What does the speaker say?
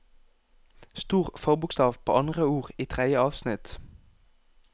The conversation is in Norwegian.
Stor forbokstav på andre ord i tredje avsnitt